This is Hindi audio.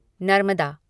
नर्मदा